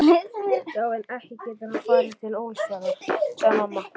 Já en, ekki getur hann farið til Ólafsfjarðar, sagði mamma.